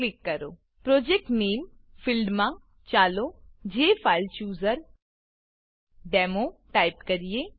project નામે project name ફીલ્ડમાં ચાલો જેફાઇલચૂઝરડેમો ટાઈપ કરીએ